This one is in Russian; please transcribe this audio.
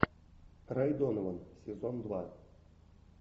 рэй донован сезон два